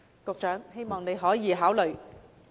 我希望局長可以考慮。